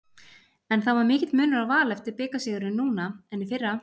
En það var mikill munur á Val eftir bikarsigurinn núna en í fyrra?